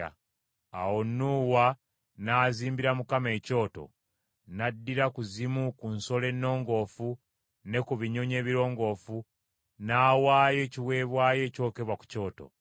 Awo Nuuwa n’azimbira Mukama ekyoto, n’addira ku zimu ku nsolo ennongoofu ne ku binyonyi ebirongoofu n’awaayo ekiweebwayo ekyokebwa ku kyoto.